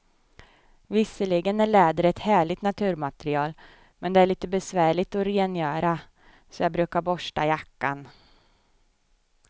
Visserligen är läder ett härligt naturmaterial, men det är lite besvärligt att rengöra, så jag brukar borsta jackan.